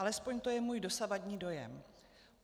Alespoň to je můj dosavadní dojem.